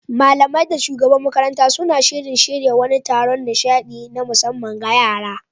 Malamai da shugabar makarantar suna shirin shirya wani taron nishaɗi na musamman ga yara.